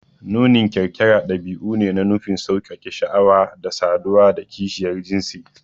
Nunin kyarkyara ɗabi'u ne da nufin sauƙaƙe sha'awa da saduwa da kishiyar jinsi